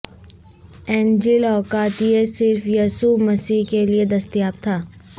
انجیل اوقات یہ صرف یسوع مسیح کے لئے دستیاب تھا